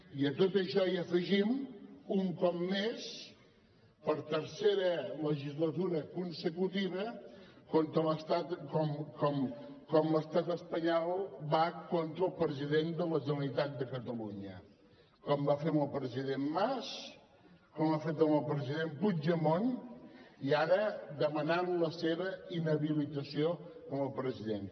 i a tot això hi afegim un cop més per tercera legislatura consecutiva com l’estat espanyol va contra el president de la generalitat de catalunya com va fer amb el president mas com ha fet amb el president puigdemont i ara demanant la seva inhabilitació com a president